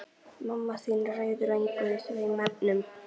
Mamma þín ræður engu í þeim efnum.